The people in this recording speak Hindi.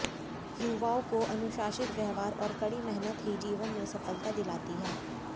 युवाओं को अनुशासित व्यवहार और कड़ी मेहनत ही जीवन में सफलता दिलाती है